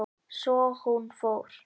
Svo hún fór.